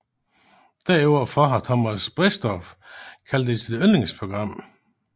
Deroverfor har Thomas Bredsdorff kaldt det sit yndlingsprogram